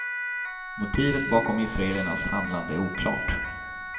Motivet bakom israelernas handlande är oklart.